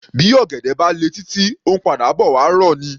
Bí ọ̀gẹ̀dẹ̀ bá le títí, ó ńpadà bọ̀ wá rọ̀ ni.